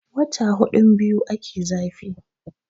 wata hudun biyu ake zafi